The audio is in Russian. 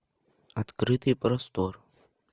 открытый простор